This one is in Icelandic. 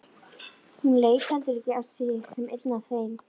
Hún leit heldur ekki á sig sem einn af þeim.